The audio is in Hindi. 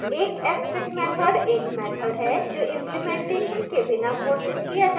एक abstract मैथड एक मैथड है जो implementation के बिना घोषित किया जाता है